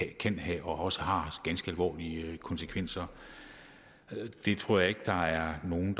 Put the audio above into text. kan have og også har ganske alvorlige konsekvenser det tror jeg ikke der er nogen